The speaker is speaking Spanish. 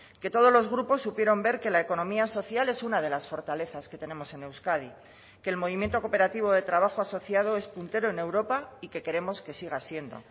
que todos los grupos supieron ver que la economía social es una de las fortalezas que tenemos en euskadi que el movimiento cooperativo de trabajo asociado es puntero en europa y que queremos que siga siendo